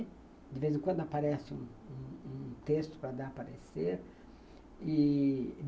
De vez em quando aparece um um um texto para dar a parecer e...